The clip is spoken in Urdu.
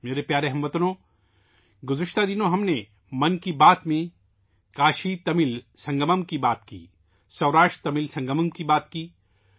میرے پیارے ہم وطنو، گذشتہ دنوں میں ہم نے 'من کی بات' میں کاشیتمل سنگم، سوراشٹرتمل سنگم کے بارے میں بات کی